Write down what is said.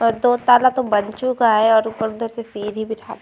अ दो ताला तो बन चुका है और ऊपर उधर से सीढ़ी बिठा --